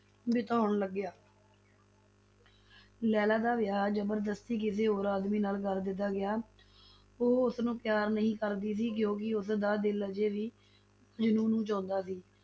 ਬਿਤਾਉਣ ਲੱਗਿਆ ਲੈਲਾ ਦਾ ਵਿਆਹ ਜਬਰਦਸਤੀ ਕਿਸੇ ਹੋਰ ਆਦਮੀ ਨਾਲ ਕਰ ਦਿੱਤਾ ਗਿਆ, ਉਹ ਉਸ ਨੂੰ ਪਿਆਰ ਨਹੀਂ ਕਰਦੀ ਸੀ ਕਿਉਂਕਿ ਉਸ ਦਾ ਦਿਲ ਅਜੇ ਵੀ ਮਜਨੂੰ ਨੂੰ ਚਾਹੰਦਾ ਸੀ,